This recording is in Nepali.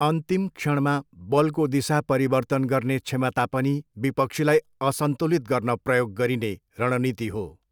अन्तिम क्षणमा बलको दिशा परिवर्तन गर्ने क्षमता पनि विपक्षीलाई असन्तुलित गर्न प्रयोग गरिने रणनीति हो।